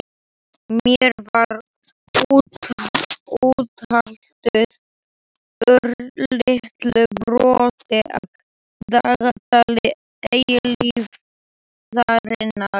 Mér var úthlutað örlitlu broti af dagatali eilífðarinnar.